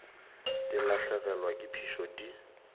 di lahlegelwa ke phišo di